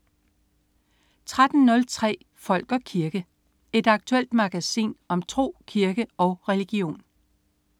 13.03 Folk og kirke. Et aktuelt magasin om tro, kirke og religion